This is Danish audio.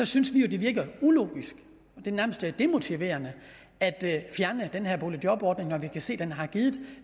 synes vi at det virker ulogisk og nærmest demotiverende at fjerne den her boligjobordning når vi kan se at den har givet